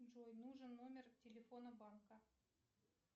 джой нужен номер телефона банка